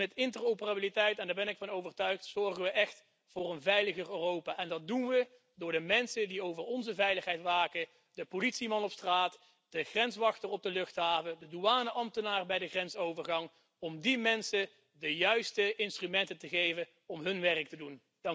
Met interoperabiliteit en daar ben ik van overtuigd zorgen we echt voor een veiliger Europa, en dat doen we door de mensen die over onze veiligheid waken, de politieman op straat, de grenswachten op de luchthaven, de douaneambtenaren bij de grensovergang om die mensen de juiste instrumenten te geven om hun werk te doen.